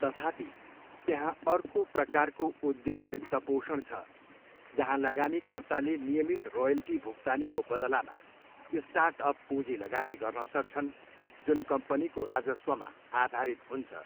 तथापि, त्यहाँ अर्को प्रकारको उद्यम वित्तपोषण छ जहाँ लगानीकर्ताले नियमित रोयल्टी भुक्तानीको बदलामा स्टार्टअप पूञ्जी लगानी गर्न सक्छन् जुन कम्पनीको राजस्वमा आधारित हुन्छ।